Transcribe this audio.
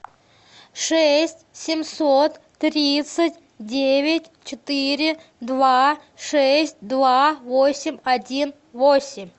шесть семьсот тридцать девять четыре два шесть два восемь один восемь